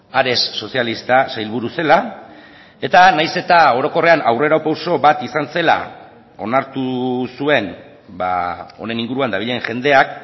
ares sozialista sailburu zela eta nahiz eta orokorrean aurrera pauso bat izan zela onartu zuen honen inguruan dabilen jendeak